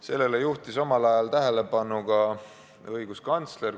Sellele juhtis omal ajal tähelepanu ka õiguskantsler.